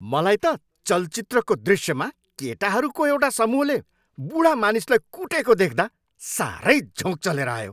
मलाई त चलचित्रको दृष्यमा केटाहरूको एउटा समूहले बुढा मानिसलाई कुटेको देख्दा साह्रै झोँक चलेर आयो।